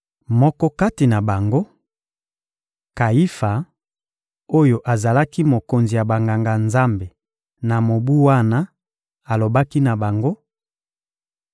Moko kati na bango, Kayifa, oyo azalaki mokonzi ya Banganga-Nzambe na mobu wana, alobaki na bango: